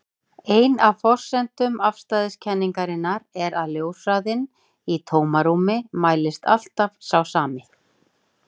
Ein af forsendum afstæðiskenningarinnar er að ljóshraðinn í tómarúmi mælist alltaf sá sami.